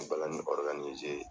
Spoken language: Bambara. Balanin